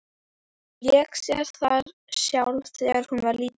Hún lék sér þar sjálf þegar hún var lítil.